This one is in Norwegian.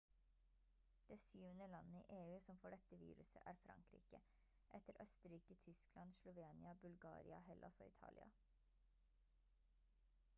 det syvende landet i eu som får dette viruset er frankrike etter østerrike tyskland slovenia bulgaria hellas og italia